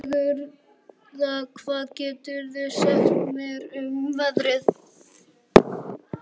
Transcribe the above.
Sigurða, hvað geturðu sagt mér um veðrið?